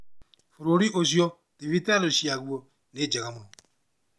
Bũrũri ucio thibitarĩ ciaguo nĩ njega mũno